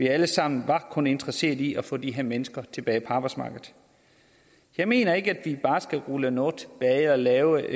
alle sammen kun interesseret i at få de her mennesker tilbage på arbejdsmarkedet jeg mener ikke at vi bare skal rulle noget tilbage og lave